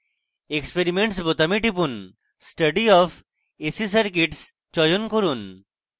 experiments বোতামে টিপুন study of ac circuits চয়ন করুন